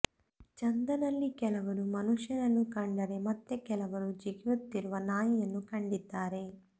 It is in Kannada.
ಚಂದನಲ್ಲಿ ಕೆಲವರು ಮನುಷ್ಯನನ್ನು ಕಂಡರೆ ಮತ್ತೆ ಕೆಲವರು ಜಿಗಿಯುತ್ತಿರುವ ನಾಯಿಯನ್ನು ಕಂಡಿದ್ದಾರೆ